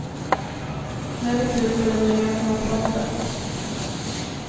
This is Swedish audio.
Nu är det slut på den gemensamma fronten.